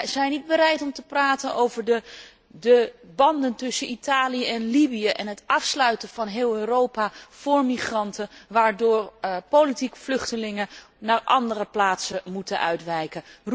Wij zijn niet bereid om te praten over de banden tussen Italië en Libië en het afsluiten van heel Europa voor migranten, waardoor politieke vluchtelingen naar andere plaatsen moeten uitwijken.